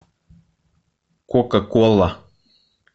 кока кола